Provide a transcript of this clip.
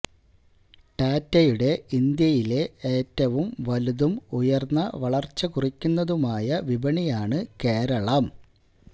ടാറ്റയുടെ ഇന്ത്യയിലെ ഏറ്റവും വലുതും ഉയർന്ന വളർച്ച കുറിക്കുന്നതുമായ വിപണിയാണ് കേരളം